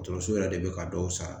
Dɔkɔtɔrɔso yɛrɛ de be ka dɔw sara